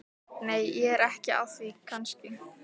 Nei, ég er ekki að því kannski.